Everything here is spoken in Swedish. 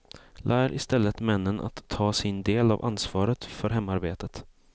Lär istället männen att ta sin del av ansvaret för hemarbetet.